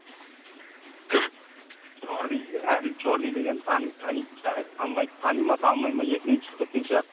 кім черный деген әділ черный деген тани танитын шығар танымай тани ма танымайма есіңнен шығып кеткен шығар